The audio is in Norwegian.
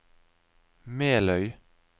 Meløy